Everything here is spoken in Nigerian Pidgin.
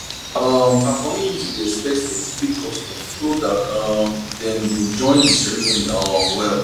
um her community dey expect specific customs so that um dem go join the ceremony um well